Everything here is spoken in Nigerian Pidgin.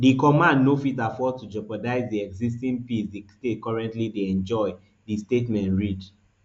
di command no fit afford to jeopardize di existing peace di state currently dey enjoy di statement read